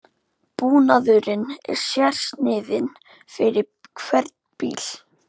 Búnaðurinn er sérsniðinn fyrir hvern bíl